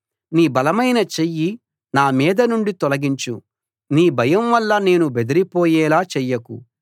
నీ బలమైన చెయ్యి నా మీద నుండి తొలగించు నీ భయం వల్ల నేను బెదిరిపోయేలా చెయ్యకు